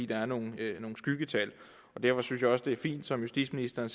der er nogle skyggetal derfor synes jeg også det er fint som justitsministeren